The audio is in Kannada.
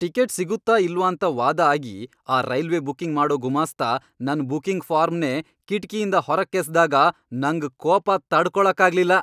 ಟಿಕೆಟ್ ಸಿಗುತ್ತಾ ಇಲ್ವಾಂತ ವಾದ ಆಗಿ ಆ ರೈಲ್ವೆ ಬುಕಿಂಗ್ ಮಾಡೋ ಗುಮಾಸ್ತ ನನ್ ಬುಕಿಂಗ್ ಫಾರ್ಮ್ನೇ ಕಿಟ್ಕಿಯಿಂದ ಹೊರಕ್ಕೆಸ್ದಾಗ ನಂಗ್ ಕೋಪ ತಡ್ಕೊಳಕ್ಕಾಗ್ಲಿಲ್ಲ.